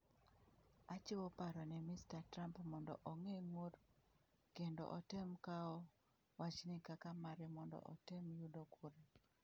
'...Achiwo paro ne Mr. Trump mondo ogeng' ng'ur kendo otem kawo wachni kaka mare mondo otem yudo kura.